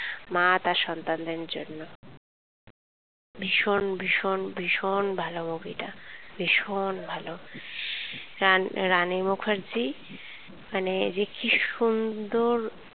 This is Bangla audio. মা তার সন্তান্দের জন্য ভীষণ ভীষণ ভীষণ ভালো movie টা ভীষণ ভালো রান রানী মুখার্জি মানে যে কি সুন্দর,